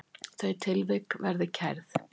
Þau tilvik verði kærð.